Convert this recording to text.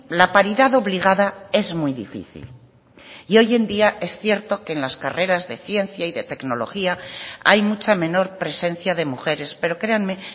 la paridad obligada es muy difícil y hoy en día es cierto que en las carreras de ciencia y de tecnología hay mucha menor presencia de mujeres pero créanme